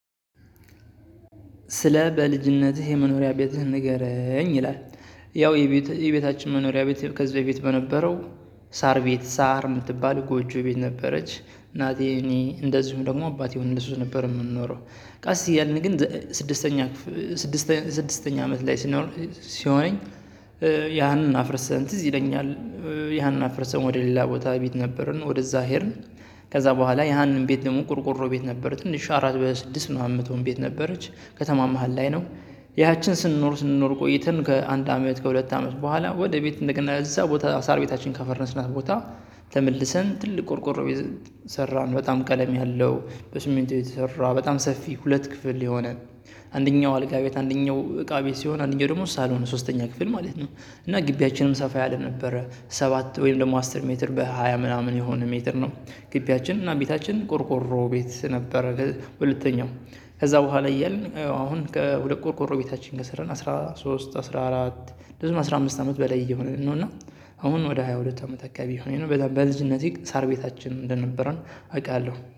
ስለ በልጅነትህ የመኖሪያ ቤትህን ንገረኝ ይላል? ያው የቤታችን መኖሪያ ከዚህ በፊት በነበረው ሳር ቤት ሳር የምትባል ጎጆ ቤት ነበረች እናቴ እኔ እንደዚሁም ደግሞ አባቴ ሆነን በእሱ ነበር የምንኖረው። ቀስ እያልን ግን ስድስተኛ ስድስተኛ አመት ላይ ሲኖር ሲሆነኝ ያን አፍርሰን ትዝ ይለኛል። ያንን አፍርሰን ወደ ሌላ ቦታ ቤት ነበርን ወደዛ ሄድን። ከዛ በኋላ ያንን ቤት ደግሞ ቆርቁሮ ቤት ነበር ትንሽ አራት በስድስት ምናምን መቶን ቤት ነበረች ከተማ መሃል ላይ ነው። ያችን ስንኖር ስንኖር ቆይተን ከአንድ አመት ከሁለት አመት በኋላ ወደ ቤት እንደገና እዛ ቦታ ሳር ቤታችን ካፈረስናት ቦታ። ተመልሰን ትልቅ ቆርቆሮ የሰራን በጣም ቀለም ያለው በሲሚንቶ የተሰራ በጣም ሰፊ ሁለት ክፍል የሆነ አንደኛው አልጋ ቤት አንደኛው እቃ ቤት ሲሆን አንደኛው ደግሞ ሳሎን ሶስተኛ ክፍል ማለት ነው። እና ግቢያችንም ሰፋ ያለ ነበረ። ሰባት ወይም ደግሞ አስር ሜትር በሃያ ምናምን የሆነ ሜትር ነው። ግቢያችን እና ቤታችን ቆርቆሮ ቤት ነበረ። ሁለተኛው ከዚያ በኋላ እያልን አሁን ከሁለት ቆርቆሮ ቤታችን ከሰራን አስራ ሶስት አስራ አራት ብዙ ነው አስራ አምስት አመት በላይ የሆነ ነው እና። አሁን ወደ ሃያ ሁለት አመት አካባቢ ሊሆነኝ ነው በጣም በልጅነቴ ሳር ቤታችን እንደነበረ አውቃለሁ